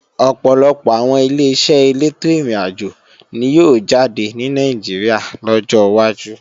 Ọ̀pọ̀lọpọ̀ àwọn Ileṣẹ́ elétò ìrìnàjò ni yóò jáde ní Nàìjíríà lọ́jọ́ wájú